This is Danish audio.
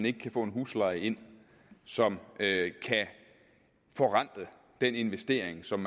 ikke kan få en husleje ind som kan forrente den investering som